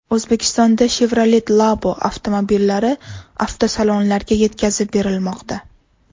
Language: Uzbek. O‘zbekistonda Chevrolet Labo avtomobillari avtosalonlarga yetkazib berilmoqda.